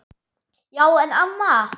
Já en amma.